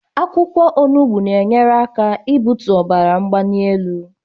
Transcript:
Akwụkwọ onugbu na-enyere aka ị bụtụ ọbara banyielu